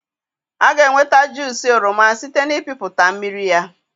A ga-enweta juusị oroma site n'ịpịpụta mmiri ya.